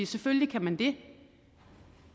selvfølgelig kan man det